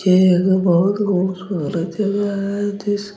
ये एक बहुत खूबसूरत जगह है जिस--